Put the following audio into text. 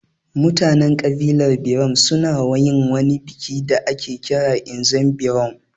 Mutanen ƙabilar birom su na yin wani biki da ake kira ''Nzem Berom''